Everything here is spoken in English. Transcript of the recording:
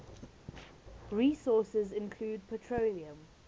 resources include petroleum